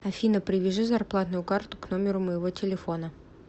афина привяжи зарплатную карту к номеру моего телефона